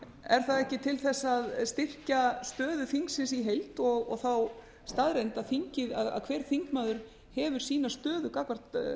er það ekki til þess að styrkja stöðu þingsins í heild og þá staðreynd að hver þingmaður hefur sína stöðu gagnvart